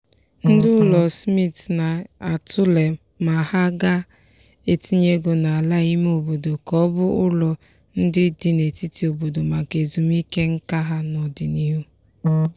ndị ụlọ smith na-atụle ma ha ga-etinye ego n'ala ime obodo ka ọ bụ ụlọ ndị dị n'etiti obodo maka ezumike nká ha n'ọdịnihu.